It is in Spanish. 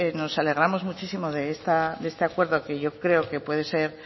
nos alegramos muchísimo de este acuerdo que yo creo que puede ser